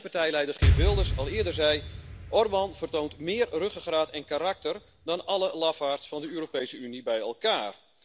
En zoals mijn partijleider Geert Wilders al eerder zei Orbán vertoont meer ruggengraat en karakter dan alle lafaards van de Europese Unie bij elkaar!